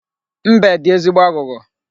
Mbe dị ezigbo aghụghọ.